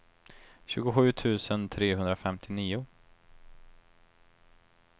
tjugosju tusen trehundrafemtionio